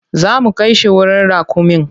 Za mu kai shi wurin raƙumin.